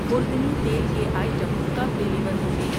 خوردنی تیل کے آئٹم کب ڈیلیور ہوں گے؟